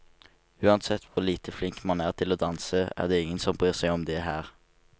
Uansett hvor lite flink man er til å danse, er det ingen som bryr seg om det her.